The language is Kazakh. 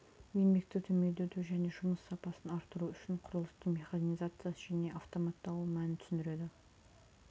еңбекті төмендету және жұмыс сапасын арттыру үшін құрылыстың механизациясы және автоматтауы мәнін түсінеді